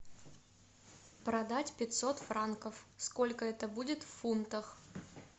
продать пятьсот франков сколько это будет в фунтах